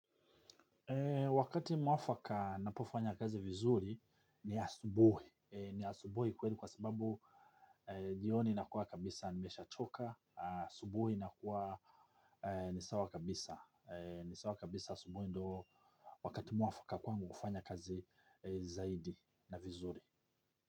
Wakati mwafaka napofanya kazi vizuri ni asubuhi. Ni asubuhi kweli kwa sababu jioni nakuwa kabisa nimeshachoka. Asubuhi nakuwa nisawa kabisa. Nisawa kabisa asubuhi ndoo wakati mwafaka kwangu kufanya kazi zaidi na vizuri.